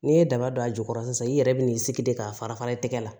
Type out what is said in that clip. N'i ye daba don a jukɔrɔ sisan i yɛrɛ bi n'i sigi de k'a fara fara i tɛgɛ la